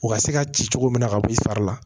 U ka se ka ci cogo min na ka bɔ i fari la